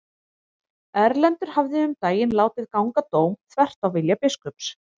Erlendur hafði um daginn látið ganga dóm þvert á vilja biskups.